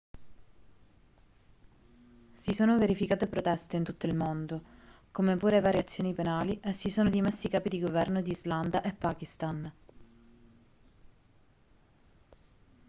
si sono verificate proteste in tutto il mondo come pure varie azioni penali e si sono dimessi i capi di governo di islanda e pakistan